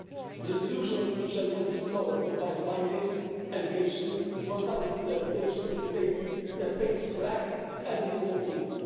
The resolution on which we shall vote tomorrow combines findings, allegations, one sided interpretations in a statement that paints black everything Maltese.